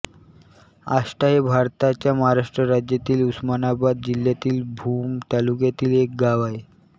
आष्टा हे भारताच्या महाराष्ट्र राज्यातील उस्मानाबाद जिल्ह्यातील भूम तालुक्यातील एक गाव आहे